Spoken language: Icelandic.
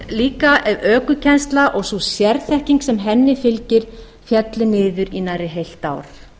líka ef ökukennsla og sú sérþekking sem henni fylgir félli niður í nærri heilt ár